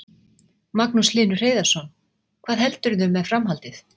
Magnús Hlynur Hreiðarsson: Hvað heldurðu með framhaldið?